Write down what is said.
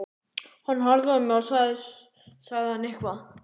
Hann horfði á mig og svo sagði hann eitthvað.